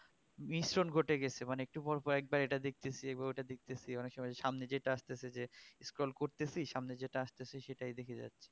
মিশ্রণ ঘটে গেছে মানে একটু পর পর একবার এটা দেখতেছি একবার ওটা দেখতেছি অনেক সময় সামনে যেটা আসতেছে scroll করতেছি সামনে যেটা আসতেছে সেটাই দেখে যাচ্ছি